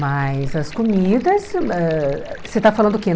Mas as comidas ãh... Você tá falando o quê?